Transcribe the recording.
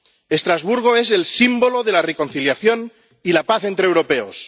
Estrasburgo es el símbolo de la reconciliación y la paz entre europeos.